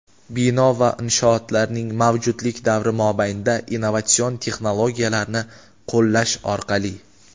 Bino va inshootlarning mavjudlik davri mobaynida innovatsion texnologiyalarni qo‘llash orqali:.